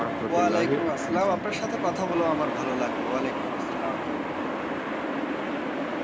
ওয়ালাইকুম আসলাম আপনার সাথে কথা বলে আমার ভালো লাগলো ওয়ালাইকুম আসসালাম।